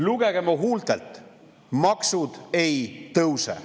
"Lugege mu huultelt, maksud ei tõuse.